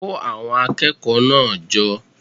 Kó àwon akékòó náà jo